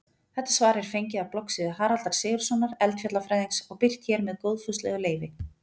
Þetta svar er fengið af bloggsíðu Haraldar Sigurðssonar eldfjallafræðings og birt hér með góðfúslegu leyfi.